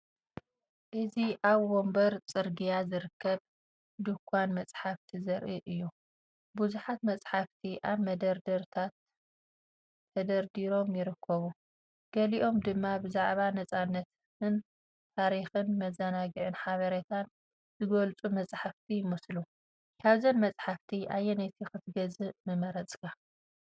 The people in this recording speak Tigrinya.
እዚ ኣብ ወሰን ጽርግያ ዝርከብ ድኳን መጻሕፍቲ ዘርኢ እዩ። ብዙሓት መጻሕፍቲ ኣብ መደርደሪታት ተደራሪቦም ይርከቡ፣ ገሊኦም ድማ ብዛዕባ ናጽነትን ታሪኽን መዘናግዕን ሓበሬታን ዝገልጹ መጻሕፍቲ ይመስሉ። ካብዘን መጻሕፍቲ ኣየነይቲ ክትገዝእ ምመረጽካ?